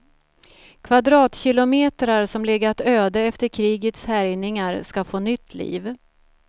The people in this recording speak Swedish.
Kvadratkilometrar som legat öde efter krigets härjningar ska få nytt liv.